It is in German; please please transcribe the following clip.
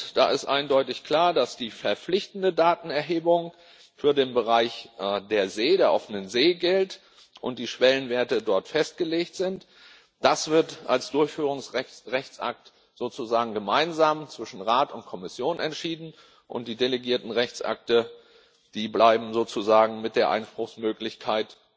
Da ist eindeutig klar, dass die verpflichtende Datenerhebung für den Bereich der offenen See gilt und die Schwellenwerte dort festgelegt sind. Das wird als Durchführungsrechtsakt sozusagen gemeinsam zwischen Rat und Kommission entschieden, und die delegierten Rechtsakte bleiben sozusagen mit der Einspruchsmöglichkeit